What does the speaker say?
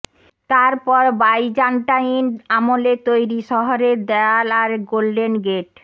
তারপর বাইজান্টাইন আমলে তৈরি শহরের দেয়াল আর গোল্ডেন গেট